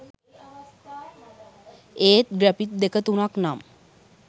ඒත් ග්‍රැෆික් දෙක තුනක් නම්